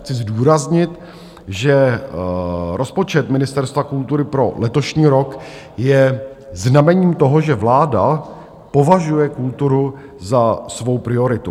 Chci zdůraznit, že rozpočet Ministerstva kultury pro letošní rok je znamením toho, že vláda považuje kulturu za svou prioritu.